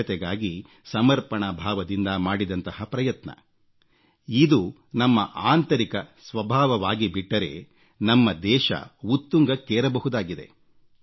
ಸ್ವಚ್ಛತೆಗಾಗಿ ಸಮರ್ಪಣಾ ಭಾವದಿಂದ ಮಾಡಿದಂತಹ ಪ್ರಯತ್ನ ಇದು ನಮ್ಮ ಆಂತರಿಕ ಸ್ವಭಾವವಾಗಿಬಿಟ್ಟರೆ ನಮ್ಮ ದೇಶ ಉತ್ತುಂಗಕ್ಕೇರಬಹುದಾಗಿದೆ